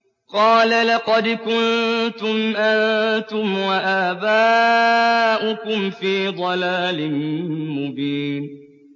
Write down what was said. قَالَ لَقَدْ كُنتُمْ أَنتُمْ وَآبَاؤُكُمْ فِي ضَلَالٍ مُّبِينٍ